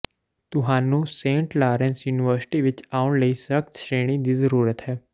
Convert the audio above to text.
ਤੁਹਾਨੂੰ Saint Lawrence University ਵਿਚ ਆਉਣ ਲਈ ਸਖ਼ਤ ਸ਼੍ਰੇਣੀ ਦੀ ਜ਼ਰੂਰਤ ਹੈ